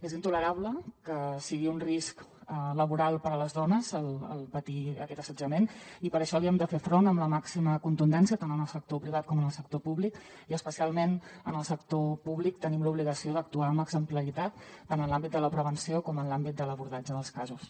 és intolerable que sigui un risc laboral per a les dones patir aquest assetjament i per això hi hem de fer front amb la màxima contundència tant en el sector privat com en el sector públic i especialment en el sector públic tenim l’obligació d’actuar amb exemplaritat tant en l’àmbit de la prevenció com en l’àmbit de l’abordatge dels casos